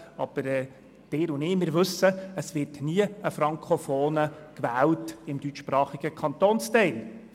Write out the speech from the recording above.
Aber Sie und ich, wir wissen, es wird im deutschsprachigen Kantonsteil nie ein Frankofoner gewählt.